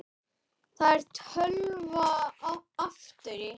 Það er tölva aftur í.